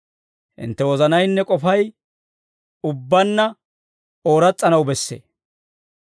Hintte wozanaynne k'ofay ubbaanna ooras's'anaw bessee.